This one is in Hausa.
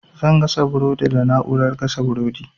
Zan gasa burodi da na'urar gasa burodi.